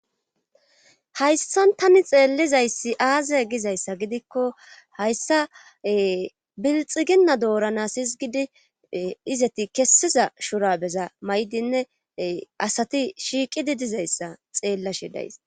Hayssan tani xeellizayssi aaze gizayssa gidikko hayssa bilxiginna doorana izgidi izeti kessiza shurabeza maydinne asati shiiqidi dizayssa xeellashi days.